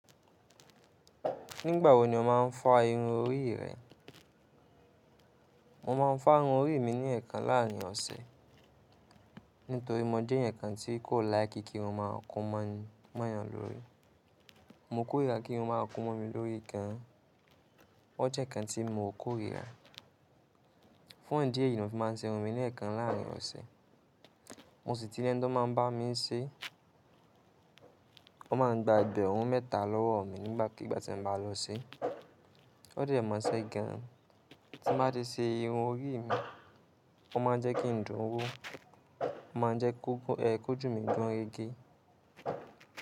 Nígbà wo ni o má a ń fa irun orí rẹ? Mo ma ń fa irun orí mi ní ẹ̀ẹ̀kan láàrin ọ̀sẹ̀, nítorí mo jẹ́ ẹ̀ẹ̀yankan tí kò líke kírun má a kún mọ́yàn lórí. Mo kórira kírun má a kún mọ́ mi lórí gan an. O jẹ́ nkan tí mo kórira. Fún ìdí èyí ni mo fi má ń ṣe irun mi ní ẹ̀ẹ̀kan láàrin ọ̀sẹ̀. Mo sì ti lẹ́ńi tọ́ màá ń bá mi ń ṣe, wọn má a ń gba egbẹ̀run mẹ́ta lọ́wọ́ mi nígbàkigbà tí mo bá lọ ṣe. O dẹ́ mosẹ́ gan an. Tí mo bá ti ṣe irun orí mi, ó máa n jẹ́ kí n dùn ún wó, ó má a jẹ́ kójù mí gùn rẹ́gẹ́.